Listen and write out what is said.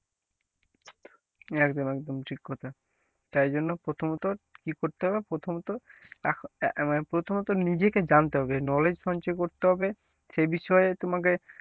একদম একদম ঠিক কথা তাই জন্য প্রথমত কি করতে হবে প্রথমত আহ প্রথমত নিজেকে জানতে হবে knowledge সঞ্চয় করতে হবে সে বিষয়ে তোমাকে,